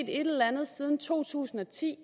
et eller andet siden to tusind og ti